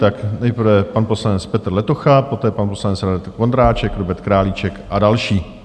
Tak nejprve pan poslanec Petr Letocha, poté pan poslanec Radek Vondráček, Robert Králíček a další.